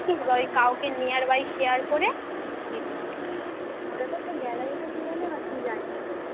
ওটা তো তোর gallery তে চলে এলে এবার তুই যা ইচ্ছা করতে পারিস